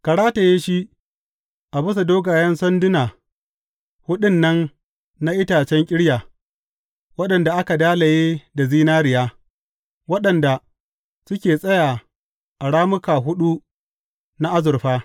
Ka rataye shi a bisa dogayen sanduna huɗun nan na itacen ƙirya, waɗanda aka dalaye da zinariya, waɗanda suke tsaya a rammuka huɗu na azurfa.